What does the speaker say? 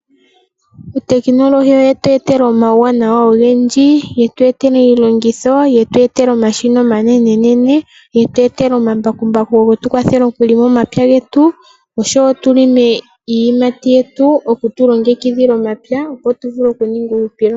Uutekinololyi owetweetela omawuwanawa ogendji, yetweetela iilongitho, yetweetela omashina omanene nene, yetweetela omambakumbaku getukwathele okulonga omapywa getu. Oshowoo tulonge iiyimati yetu okutulongekidhila omapywa opo tuvule okuninga uuhupilo.